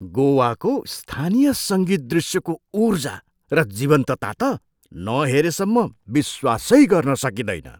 गोवाको स्थानीय सङ्गीत दृश्यको ऊर्जा र जीवन्तता त नहेरेसम्म विश्वासै गर्न सकिँदैन।